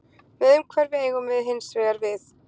með umhverfi eigum við hins vegar við